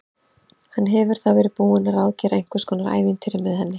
Hann hefur þá verið búinn að ráðgera einhvers konar ævintýri með henni!